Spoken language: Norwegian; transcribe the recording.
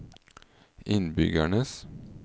innbyggernes